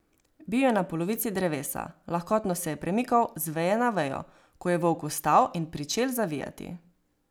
Bil je na polovici drevesa, lahkotno se je premikal z veje na vejo, ko je volk vstal in pričel zavijati.